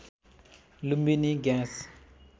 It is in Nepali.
लुम्बिनी ग्याँस